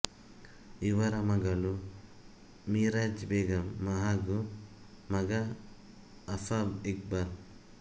ಇವರ ಮಗಳು ಮಿರಜ್ ಬೇಗಂ ಹಾಗು ಮಗ ಅಫಾಬ್ ಇಕ್ಬಾಲ್